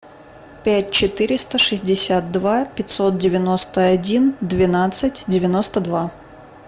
пять четыреста шестьдесят два пятьсот девяносто один двенадцать девяносто два